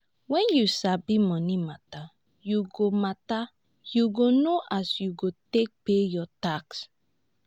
wen you sabi moni mata yu go mata yu go know as you go take pay yur tax